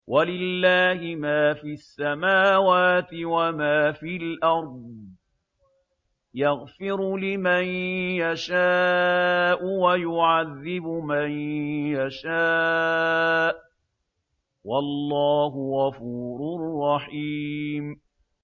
وَلِلَّهِ مَا فِي السَّمَاوَاتِ وَمَا فِي الْأَرْضِ ۚ يَغْفِرُ لِمَن يَشَاءُ وَيُعَذِّبُ مَن يَشَاءُ ۚ وَاللَّهُ غَفُورٌ رَّحِيمٌ